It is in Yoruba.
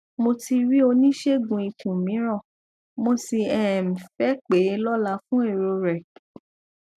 mo ti rí oníṣègùn ikùn mìíràn mo sì um fẹ pè é lọla fún èrò rẹ